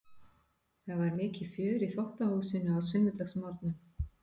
Það var mikið fjör í þvottahúsinu á sunnudagsmorgnum.